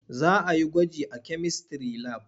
Za a yi gwaji a kemistry lab.